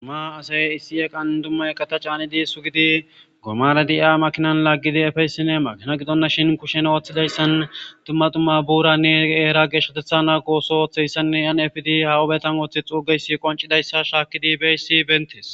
Duma asay issi eqan dumma eqata caanidi sugidi gomara di7a makinan laaggidi efeysine magina gidonna shin kushen ooththidayssan dumma tumma buuranne eera geshatetha naa qooso oththeyssanne yan efidi hawubetam ooththe xuugeysi qoncidayssa shaakkidi beyssi bentes